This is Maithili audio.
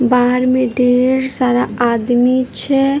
बाहर में ढेर सारा आदमी छै।